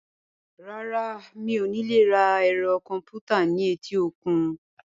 Rárá, mi ò ní lè ra ẹ̀rọ kọ̀m̀pútà ní etíkun.